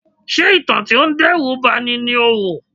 Ṣé ìtàn tí ó ń dẹ́rù ba ni ni o wò?